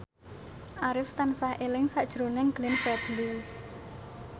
Arif tansah eling sakjroning Glenn Fredly